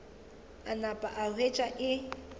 a napa a hwetša e